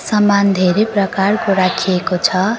सामान धेरै प्रकारको राखिएको छ।